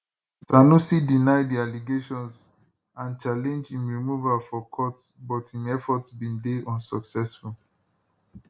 sanusi deny di allegations and challenge im removal for court but im efforts bin dey unsuccessful